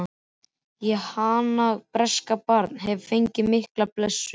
Ég, hans breyska barn, hef fengið mikla blessun.